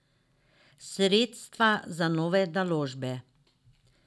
Sredstva za nove naložbe.